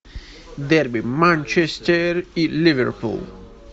дерби манчестер и ливерпуль